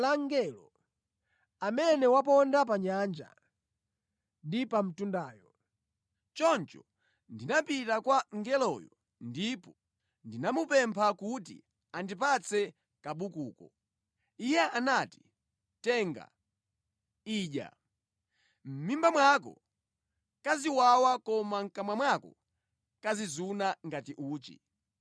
Choncho ndinapita kwa mngeloyo ndipo ndinamupempha kuti andipatse kabukuko. Iye anati, “Tenga, idya. Mʼmimba mwako kaziwawa koma mʼkamwa mwako kazizuna ngati uchi.”